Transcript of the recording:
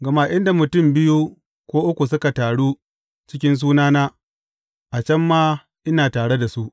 Gama inda mutum biyu ko uku suka taru cikin sunana, a can ma ina tare da su.